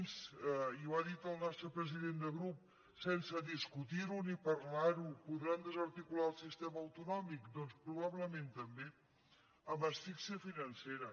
i ho ha dit el nostre president de grup sense discutir ho ni parlar ho podran desarticular el sistema autonòmic doncs probablement també amb asfíxia financera